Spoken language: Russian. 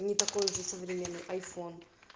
не такой уже современный айфон